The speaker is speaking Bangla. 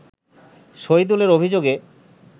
শহীদুলের অভিযোগে